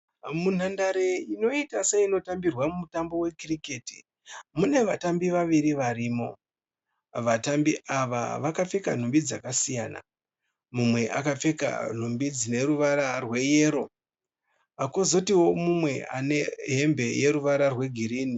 Munhandare inoita seinotambirwa mutambo wekiriketi mune vatambi vaviri varimo. Vatambi ava vakapfeka nhumbi dzakasiyana. Mumwe akapfeka nhumbi dzine ruvara rweyero kozotiwo mumwe ane hembe dzine ruvara rwegirinhi.